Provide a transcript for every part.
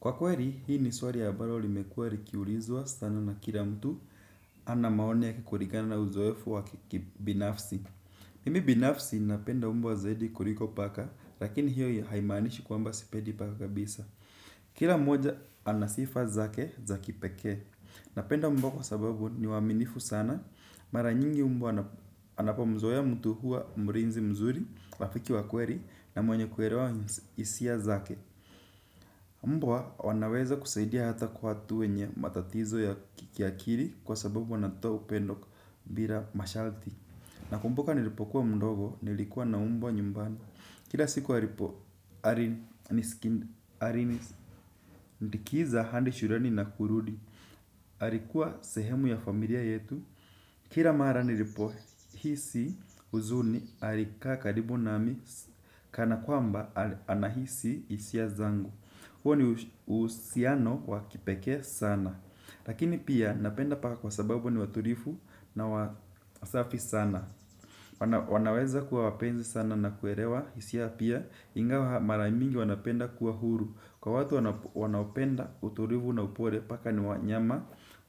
Kwa kweli, hii ni swali ambalo limekuwa likiulizwa sana na kila mtu ana maoni kulingana na uzoefu wa kibinafsi. Mimi binafsi napenda mbwa zaidi kuliko paka, lakini hiyo haimaanishi kwamba sipendi paka kabisa. Kila mmoja ana sifa zake za kipekee. Napenda mbwa kwa sababu ni waaminifu sana, mara nyingi mbwa anapomzoea mtu huwa mlinzi mzuri, rafiki wa kweli na mwenye kuelewa hisia zake. Mbwa wanaweza kusaidia hata kwa watu wenye matatizo ya kiakili kwa sababu wanatoa upendo bila masharti. Nakumbuka nilipokuwa mdogo nilikuwa na mbwa nyumbani. Kila siku alipo, alinisikindikiza hadi shuleni na kurudi. Alikuwa sehemu ya familia yetu. Kila mara nilipohisi huzuni alikaa karibu nami, kana kwamba, anahisi hisia zangu. Huo ni uhusiano wa kipekee sana. Lakini pia napenda paka kwa sababu ni watulivu na wasafi sana. Wanaweza kuwa wapenzi sana na kuelewa hisia pia ingawa mara mingi wanapenda kuwa huru. Kwa watu wanaopenda utulivu na upole paka ni wanyama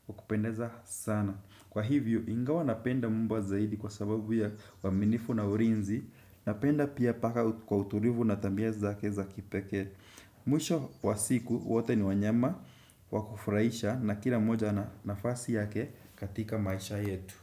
wa kupendeza sana. Kwa hivyo ingawa napenda mbwa zaidi kwa sababu ya uaminifu na ulinzi napenda pia paka kwa utulivu na tabia zake za kipekee. Mwisho wa siku wote ni wanyama wa kufurahisha na kila mmoja ana nafasi yake katika maisha yetu.